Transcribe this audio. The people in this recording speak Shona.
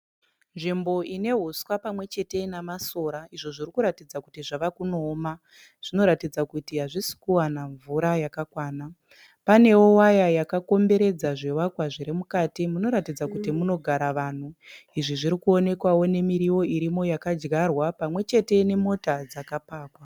Nzvimbo ine huswa pamwechete namasora izvo zviri kuratidza kuti zvave kunooma. Zvinoratidza kuti hazvisi kuwana mvura yakakwana. Panewo waya yakakomberedza zvivakwa zvirimukati. Munoratidza kuti munogara vanhu. Izvi zvirikuonekwawo nemirivo irimo yakadyarwa pamwechete nemota dzakapakwa.